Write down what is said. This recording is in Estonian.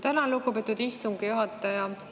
Tänan, lugupeetud istungi juhataja!